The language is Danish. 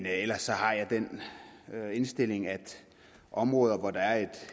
ellers har jeg den indstilling at områder hvor der er